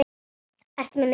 Ertu með mynd af henni?